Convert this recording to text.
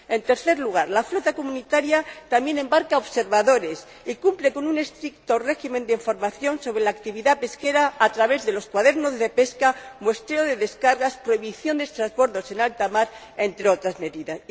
En tercer lugar, la flota comunitaria también embarca observadores y cumple con un estricto régimen de información sobre la actividad pesquera a través de los cuadernos de pesca, muestreo de descargas y prohibición de transbordos en alta mar, entre otras medidas.